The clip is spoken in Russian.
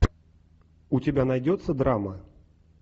у тебя найдется драма